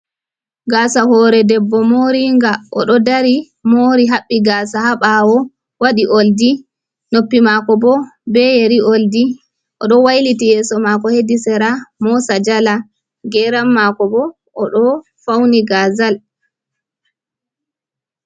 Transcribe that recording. Gaasa hore debbo moringa, oɗo dari mori haɓɓii gasa ha ɓawo, waɗi oldi, noppi mako bo be yeri. oldi oɗo wailiti yeso mako hedi sera moosa jala, geram mako bo oɗo fauni gazal.